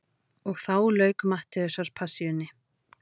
Og þá lauk Mattheusarpassíunni.